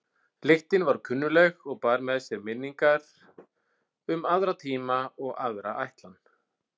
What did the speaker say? Lyktin var kunnugleg og bar með sér minningar um aðra tíma og aðra ætlan.